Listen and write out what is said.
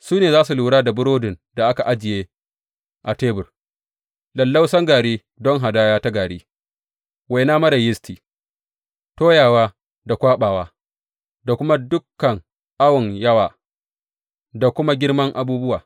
Su ne za su lura da burodin da aka ajiye a tebur, lallausan gari don hadaya ta gari, waina marar yisti, toyawa da kwaɓawa, da kuma dukan awon yawa da kuma girman abubuwa.